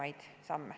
Aitäh!